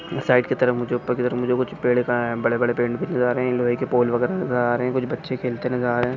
Side की तरफ मुझे उपर की तरफ मुझे कुछ. पेड़ का बड़े बड़े पेड़ नजर आ राहे लोहे के पोल वगैरा नजर आ रहे कुछ बच्चे खेलते नजर आ रहे।